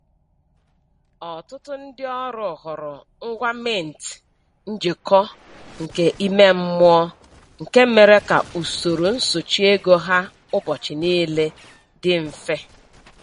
Ọtụtụ ndị ọrụ hụrụ ngwa mint njikọ nke ime mmụọ nke mere ka usoro nsochị ego ha ụbọchị niile dị mfe.